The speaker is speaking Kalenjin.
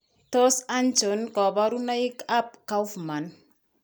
Tos achon kabarunaik ab Kaufman ?